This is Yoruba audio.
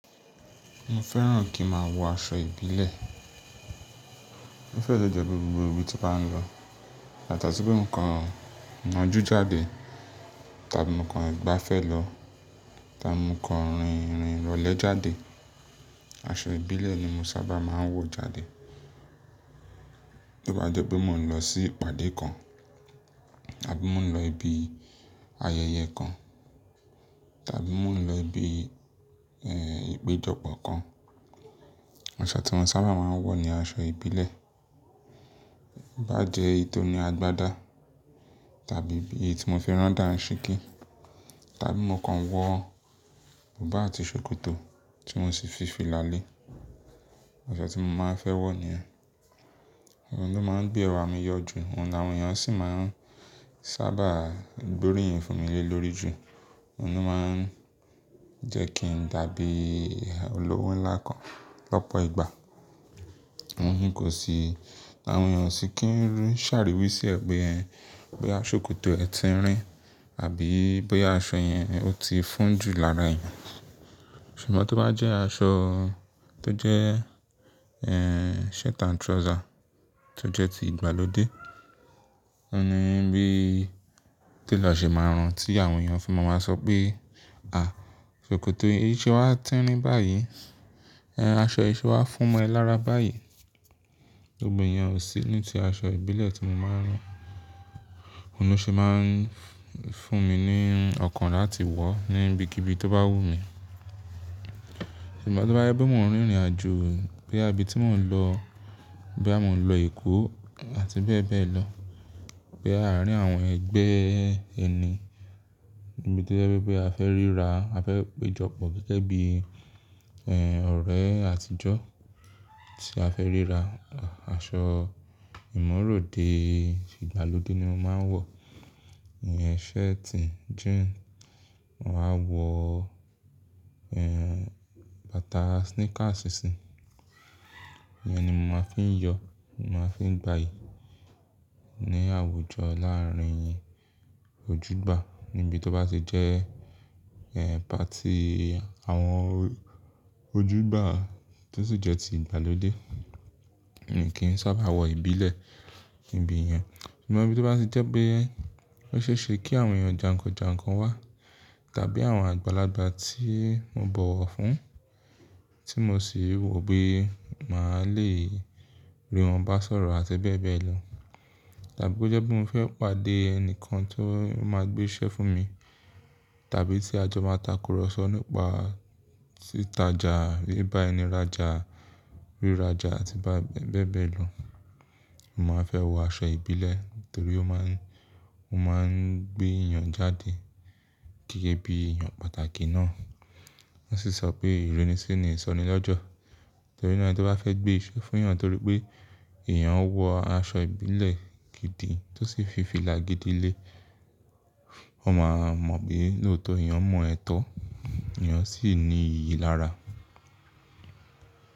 Mo fẹ́ràn kí n máa wọ aṣọ ìbílẹ̀. Ó fẹ́rẹ̀ẹ́ jẹ gbogbo ibi tí mo bá ń lọ. Látati pé mo kàn ń najú jáde tàbí mo kàn gbafẹ́ lọ tàbí mo kàn rìnrìn irọlẹ̀ jáde, aṣọ ìbílẹ̀ ni mo sábà máa ń wọ̀ jáde. Bí ó bá jẹ pé mò ń lọ sí ìpàdé kan àbí mò ń lọ ibi ayẹyẹ kan tàbí mò ń lọ ibi, ẹ́, ìpéjọpọ̀ kan, aṣọ tí mo sábà máa ń wọ̀ ni aṣọ ìbílẹ̀. Bá jẹ eytoni àgbàdá tàbí bí i tí mo fi rán dánṣìkí tàbí mo kàn wọ bùbá àti ṣòkòtò tí mo sì fi fìlà lé, aṣọ tí mo máa ń fẹ́ wọ̀ nìyẹn. Òun ló máa ń gbé ẹwà mi yọ ju, òun ni àwọn èèyàn sì máa ń sábà gbóríyìn fún mi lé lórí jù. Òun ló máa ń jẹ́ kí n dàbí olówó ńlá kan lọ́pọ̀ ìgbà. Wọn kì í kò sí-- àwọn èèyàn ò sì kí ń rí, ṣàròwí sí ẹ pé e, boya ṣòkòtò ẹ tirín àbí boya aṣọ yẹn ó ti fún jù lára ẹ. Ṣùgbọ́n tí ó bá jẹ́ aṣọ tó jẹ́, ẹ́, shirt and trouser tó jẹ́ ti ìgbàlódé, òní bíi télọ̀ ṣe máa ràn tí àwọn èèyàn fún wa máa sọ pé, "à, ṣòkòtò yìí ṣe wá ti ń rín báyìí? Ẹ̀n, aṣọ yìí ṣe wá fún ẹ lára báyìí?" Gbogbèèyàn ò sí ní ti aṣọ ìbílẹ̀ tí mo máa ń rán. Òun ló ṣe máa ń fún mi ní ọkàn láti wọ̀ ní ibi kí ibi tó bá wù mí. Ṣùgbọ́n tí ó bá yẹ bí mò ń rìnrìnàjò boya àbí tí mò ń lọ bí à mò ń lọ Èkó àti bẹ́ẹ̀ bẹ́ẹ̀ lọ, boya arín àwọn ẹgbẹ́ ẹni níbi tí ó jẹ́ pé a fẹ́ ríra, a fẹ́ péjọpọ̀ gẹ́gẹ́ bí, ẹ́, ọ̀rẹ́ àtijọ́ tí a fẹ́ ríra, aṣọ ìmọ̀ròde ìgbàlódé ni mo máa ń wọ̀. Ìyẹn shirti, jeans, mo màá wọ, ẹ́, bàtà sneakers sí. Ìyẹn ni mò máa ń fi yọ, mò máa ń fi gbàyí ní àwùjọ láàárín ojú gbà níbi tó bá ti jẹ́, ẹ́, party àwọn ojú gbà tó sì jẹ́ ti ìgbàlódé. Kì í sábà wọ ìbílẹ̀ ní ibi yen. Ṣùgbọ́n bí ó bá ti jẹ́ pé ó ṣe é ṣe kí àwọn èèyàn jànkànjànkàn wá tàbí àwọn àgbàlagbà tí mo bọ̀wọ̀ fún tí mo sì wò pé màá le rí wọn bá sọ̀rọ̀ àti bẹ́ẹ̀ bẹ́ẹ̀ lọ tàbí bó jẹ́ pé mò ń fẹ́ pàdé ẹnìkan tó máa gbé iṣẹ́ fún mi tàbí tí ajọ máa takùrọ̀sọ nípa sítajà, bí bá ẹni rajà, rí rajà àti bá bẹ́ẹ̀ bẹ́ẹ̀ lọ, màá fẹ́ wọ aṣọ ìbílẹ̀ torí ó máa ń, ó máa ń gbé èèyàn jáde gẹ́gẹ́ bí èèyàn pàtàkì ná. Wọ́n sì sọ pé ìrínisí ni ìsọnilọ́jọ̀ torí náà ẹni tó bá fẹ́ gbé iṣẹ́ fún èèyàn torí pé èèyàn wọ aṣọ ìbílẹ̀ gidi tó sì fi fìlà gidi lé, wọ́n máa mọ̀ pé lóòtọ́ èèyàn mọ ẹ́ tọ́, èèyàn sì ní iyì lára.